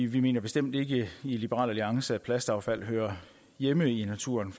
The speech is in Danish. vi mener bestemt ikke i liberal alliance at plastaffald hører hjemme i naturen